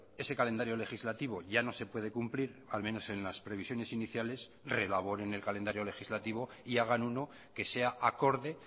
ese calendario legislativo ya no se puede cumplir al menos en las previsiones iníciales reelaboren el calendario legislativo y hagan uno que sea acorde